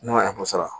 Ne mago sara